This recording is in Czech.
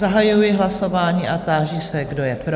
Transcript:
Zahajuji hlasování a táži se, kdo je pro?